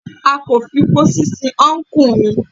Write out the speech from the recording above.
A kò fi pósí sin ọ́nkù mi.